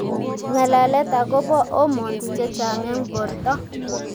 Ng'alalet akobo hormones che chang' eng borto